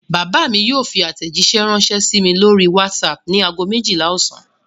Bàbá mi yóò fi àtẹ̀jíṣẹ́ ránṣẹ́ sí mi lórí WhatsApp ní ago méjìlá ọ̀sán.